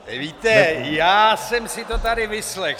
Víte, já jsem si to tady vyslechl.